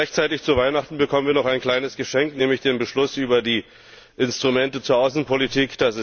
Rechtzeitig zu Weihnachten bekommen wir noch ein kleines Geschenk, nämlich den Beschluss über die Instrumente zur Außenpolitik.